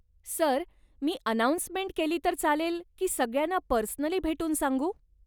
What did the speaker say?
Sir, मी announcement केली तर चालेल की सगळ्यांना पर्सनली भेटून सांगू?